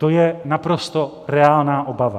To je naprosto reálná obava.